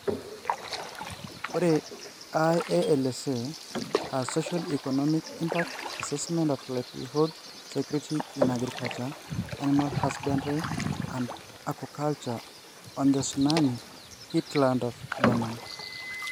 ire IALSA aaa Socio-economic Impact Assessment of Livelihood Security in Agriculture, Animal Husbandry and Aquaculture on the Tsunami-hit Lands of Andaman.